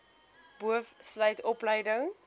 boov sluit opleiding